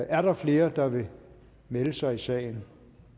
er der flere der vil melde sig i sagen